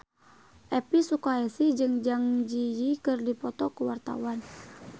Elvi Sukaesih jeung Zang Zi Yi keur dipoto ku wartawan